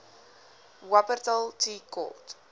wupperthal tea court